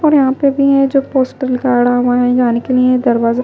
और यहां पे भी है जो पोस्टर गाढ़ा हुआ है जाने के लिए दरवाजा--